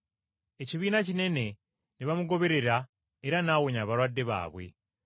Ekibiina kinene ne bamugoberera era n’awonya abalwadde baabwe.